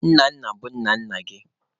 Nna nna bụ nna nna gị.